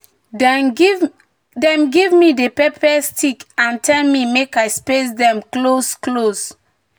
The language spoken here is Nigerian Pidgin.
"dem give me di pepper stick and tell me make i space dem close-close."